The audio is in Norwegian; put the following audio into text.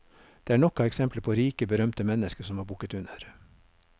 Det er nok av eksempler på rike, berømte mennesker som har bukket under.